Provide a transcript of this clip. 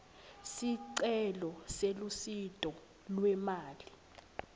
sicelo selusito lwemali